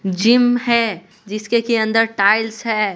Gym है जिसके की अंदर टाइल्स है।